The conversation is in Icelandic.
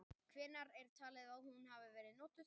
Hvenær er talið að hún hafi verið notuð?.